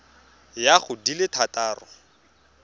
ya go di le thataro